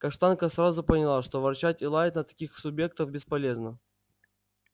каштанка сразу поняла что ворчать и лаять на таких субъектов бесполезно